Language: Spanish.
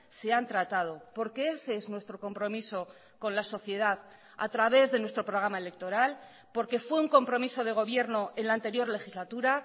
se han tratado porque ese es nuestro compromiso con la sociedad a través de nuestro programa electoral porque fue un compromiso de gobierno en la anterior legislatura